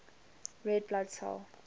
red blood cell